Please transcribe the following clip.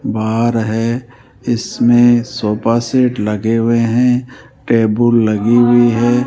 बार है इसमें sofa set लगे हुए हैं टेबुल लगी हुई है।